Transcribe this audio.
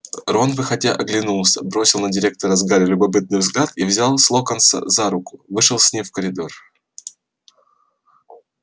рон выходя оглянулся бросил на директора с гарри любопытный взгляд и взял с локонса за руку вышел с ним в коридор